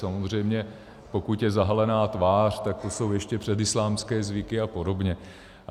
Samozřejmě pokud je zahalená tvář, tak to jsou ještě předislámské zvyky a podobně.